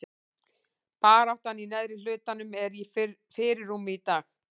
Baráttan í neðri hlutanum er í fyrirrúmi í dag.